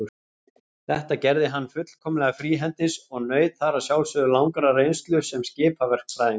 Þetta gerði hann fullkomlega fríhendis og naut þar að sjálfsögðu langrar reynslu sem skipaverkfræðingur.